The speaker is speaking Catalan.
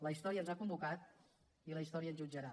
la història ens ha convocat i la història ens jutjarà